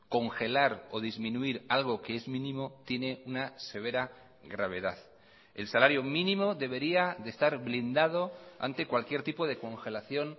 congelar o disminuir algo que es mínimo tiene una severa gravedad el salario mínimo debería de estar blindado ante cualquier tipo de congelación